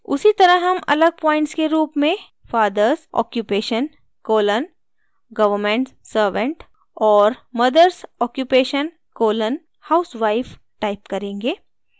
उसी तरह हम अलग प्वॉइंट्स के रूप में fathers occupation colon government servant और mothers occupation colon housewife type करेंगे